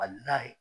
Ka n'a ye